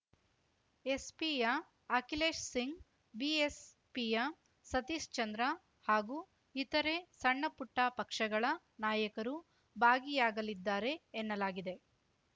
ಎಸ್‌ಪಿಯ ಅಖಿಲೇಶ್‌ಸಿಂಗ್‌ ಬಿಎಸ್‌ಪಿಯ ಸತೀಶ್‌ಚಂದ್ರ ಹಾಗೂ ಇತರೆ ಸಣ್ಣಪುಟ್ಟಪಕ್ಷಗಳ ನಾಯಕರು ಭಾಗಿಯಾಗಲಿದ್ದಾರೆ ಎನ್ನಲಾಗಿದೆ